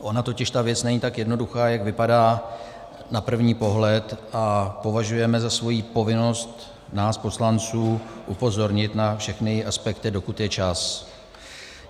Ona totiž ta věc není tak jednoduchá, jak vypadá na první pohled, a považujeme za svoji povinnost, nás poslanců, upozornit na všechny aspekty, dokud je čas.